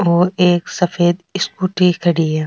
और एक सफ़ेद स्कूटी खड़ी है।